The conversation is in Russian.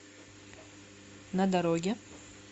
на дороге